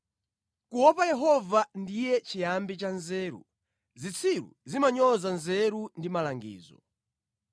Kuopa Yehova ndiye chiyambi cha nzeru. Zitsiru zimanyoza nzeru ndi malangizo.